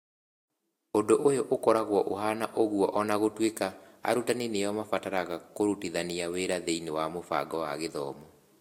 Ũndũ ũyũ ũkoragwo ũhaana ũguo o na gũtuĩka arutani nĩo marabatara kũrutithania wĩra thĩinĩ wa mũbango wa gĩthomo.